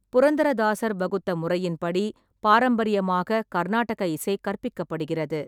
புரந்தரா தாசர் வகுத்த முறையின்படி பாரம்பரியமாக கர்நாடக இசை கற்பிக்கப்படுகிறது.